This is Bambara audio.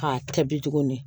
K'a kɛ bi tuguni